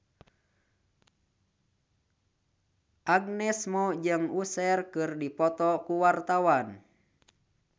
Agnes Mo jeung Usher keur dipoto ku wartawan